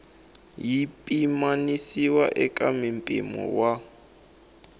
yi pimanisiwa eka mimpimo wa